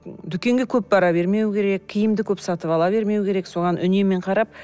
дүкенге көп бара бермеу керек киімді көп сатып ала бермеу керек соған үнеммен қарап